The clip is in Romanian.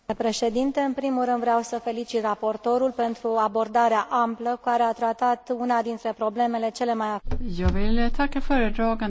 În primul rând, vreau să felicit raportorul pentru abordarea amplă, care a tratat una dintre problemele cele mai acute la ora actuală.